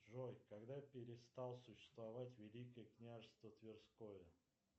джой когда перестало существовать великое княжество тверское